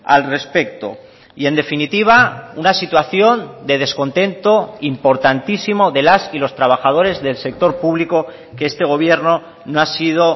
al respecto y en definitiva una situación de descontento importantísimo de las y los trabajadores del sector público que este gobierno no ha sido